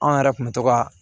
Anw yɛrɛ kun bɛ to ka